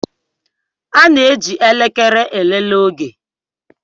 A na-eji elekere elele oge